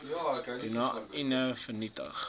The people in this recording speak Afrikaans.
doeane unie vernietig